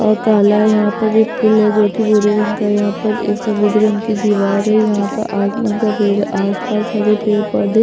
और काला है यहाँ पर फूल है जो की भूरे रंग का है यहाँ पर एक सफेद रंग की दिवार है यहाँ पर आसमान सफेद आस - पास हरे पेड़ पौधे --